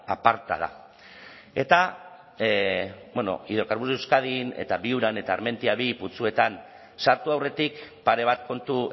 aparta da eta bueno hidrocarburos de euskadin eta viuran eta armentia bigarren putzuetan sartu aurretik pare bat kontu